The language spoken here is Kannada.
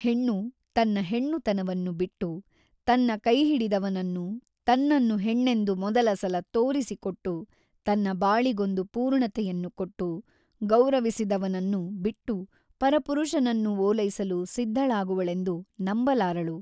ಹೆಣ್ಣು ತನ್ನ ಹೆಣ್ಣುತನವನ್ನು ಬಿಟ್ಟು ತನ್ನ ಕೈಹಿಡಿದವನನ್ನು ತನ್ನನ್ನು ಹೆಣ್ಣೆಂದು ಮೊದಲ ಸಲ ತೋರಿಸಿಕೊಟ್ಟು ತನ್ನ ಬಾಳಿಗೊಂದು ಪೂರ್ಣತೆಯನ್ನು ಕೊಟ್ಟು ಗೌರವಿಸಿದವನನ್ನು ಬಿಟ್ಟು ಪರಪುರುಷನನ್ನು ಓಲೈಸಲು ಸಿದ್ಧಳಾಗುವಳೆಂದು ನಂಬಲಾರಳು.